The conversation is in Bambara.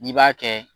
N'i b'a kɛ